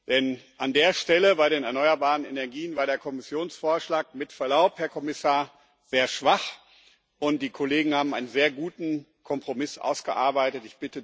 Denn an der Stelle, bei den erneuerbaren Energien, war der Kommissionsvorschlag mit Verlaub, Herr Kommissar sehr schwach, und die Kollegen haben einen sehr guten Kompromiss ausgearbeitet.